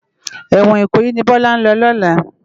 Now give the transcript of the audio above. Èwòn Ikoyi ni Bola n lò lòlá